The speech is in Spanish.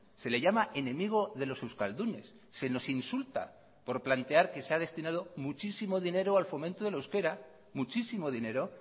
se le llama enemigo de los euskaldunes se nos insulta por plantear que se ha destinado muchísimo dinero al fomento del euskera muchísimo dinero